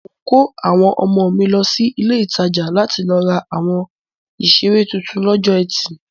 Mò ń kó àwọn ọmọ mi lọ sí ilé-ìtajà láti lọ ra àwọn ìṣeré tuntun lọ́jọ́ etì.